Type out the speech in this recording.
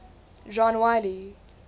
john wiley